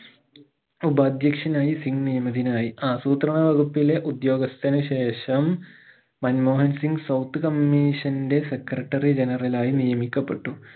ഉപാദ്യേക്ഷനായി സിംഗ് നിയമിതനായി ആസൂത്രണവകുപ്പിലെ ഉദ്യോഗസ്ഥനു ശേഷം മൻമോഹൻ സിംഗ് sort commission ന്റെ secretary general ആയി നിയമിക്കപ്പെട്ടു